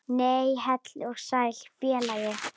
Nei, heill og sæll félagi!